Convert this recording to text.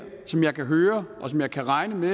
som jeg kan høre og som jeg kan regne med